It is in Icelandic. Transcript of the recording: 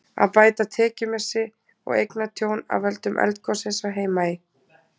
Að bæta tekjumissi og eignatjón af völdum eldgossins á Heimaey.